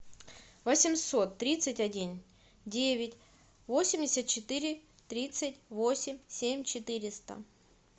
восемьсот тридцать один девять восемьдесят четыре тридцать восемь семь четыреста